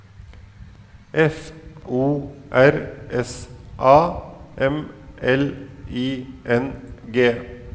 F O R S A M L I N G